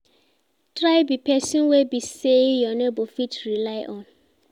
Try be person wey be say your neighbor fit rely on